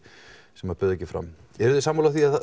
sem bauð ekki fram eruði sammála því að